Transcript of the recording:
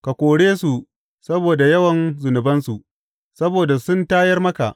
Ka kore su saboda yawan zunubansu, saboda sun tayar maka.